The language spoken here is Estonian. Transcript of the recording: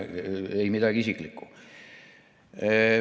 Ei midagi isiklikku.